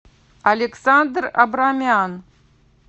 александр абрамян